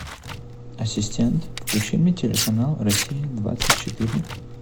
ассистент включи мне телеканал россия двадцать четыре